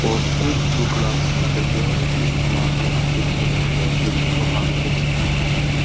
for spade tools classes them dey always teach farmers how to take care of there tools before farming season